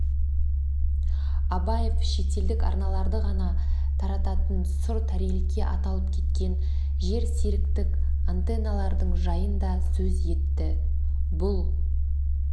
абаев шетелдік арналарды ғана тарататын сұр тарелке аталып кеткен жерсеріктік антенналардың жайын да сөз етті бұл